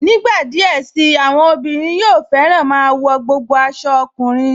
Nígbà díẹ̀ sí i, àwọn obìnrin yóò fẹ́rẹ́ máa wọ gbogbo aṣọ ọkùnrin